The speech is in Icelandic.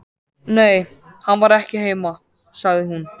Nei, hann var ekki heima, sagði hún.